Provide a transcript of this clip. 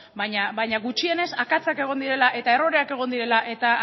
baina gutxienez akatsak egon direla eta erroreak egon direla eta